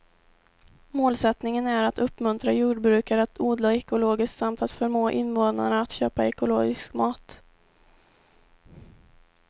Målsättningen är att uppmuntra jordbrukare att odla ekologiskt samt att förmå invånarna att köpa ekologisk mat.